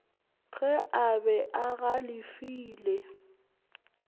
ge a be a galefile